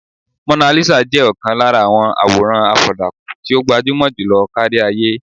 Monalisa jẹ́ ọ̀kan lára àwọn àwòràn àfọ̀dàkùn tí ó gbajúmọ̀ jùlọ kárí-ayé.